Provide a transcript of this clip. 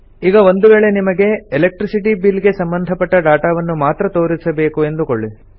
ಈಗ ಒಂದು ವೇಳೆ ನಿಮಗೆ ಎಲೆಕ್ಟ್ರಿಸಿಟಿ ಬಿಲ್ ಗೆ ಸಂಬಂಧಪಟ್ಟ ಡಾಟಾವನ್ನು ಮಾತ್ರ ತೋರಿಸಬೇಕು ಎಂದುಕೊಳ್ಳಿ